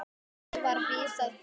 Málinu var vísað frá.